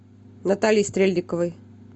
натальей стрельниковой